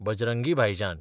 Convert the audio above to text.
बजरंगी भाईजान